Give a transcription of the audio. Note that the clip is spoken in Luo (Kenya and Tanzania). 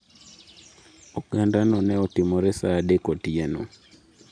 Ogandano ne otimore saa adek otieno.